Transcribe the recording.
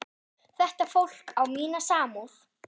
Þetta fólk á mína samúð.